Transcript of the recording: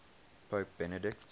pope benedict